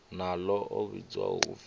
na ḽo a vhidzwaho upfi